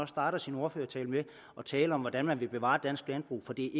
starter sin ordførertale med at tale om hvordan man vil bevare dansk landbrug for det